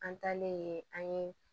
An taalen an ye